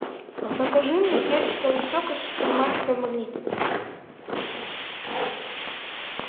закажи мне персиковый сок из супермаркета магнит